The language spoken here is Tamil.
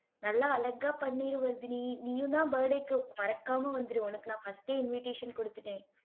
நல்லா அழகா பண்ணிரு வர்தினி, நீயும்தான் birthday க்கு மறக்காம வந்துரு உனக்கு நான் first ஏ invitation குடுத்துட்டேன்